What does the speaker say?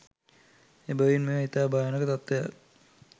එබැවින් මෙය ඉතා භයානක තත්ත්වයක්